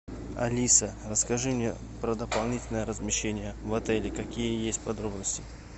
алиса расскажи мне про дополнительное размещение в отеле какие есть подробности